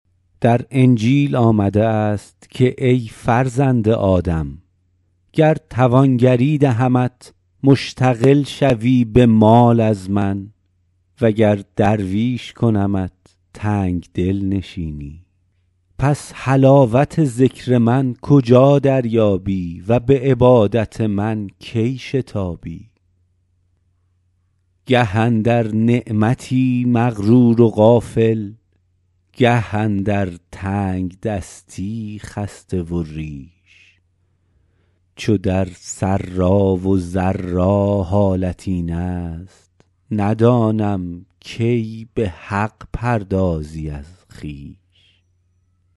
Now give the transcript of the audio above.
در انجیل آمده است که ای فرزند آدم گر توانگری دهمت مشتغل شوی به مال از من و گر درویش کنمت تنگدل نشینی پس حلاوت ذکر من کجا دریابی و به عبادت من کی شتابی گه اندر نعمتی مغرور و غافل گه اندر تنگدستی خسته و ریش چو در سرا و ضرا حالت این است ندانم کی به حق پردازی از خویش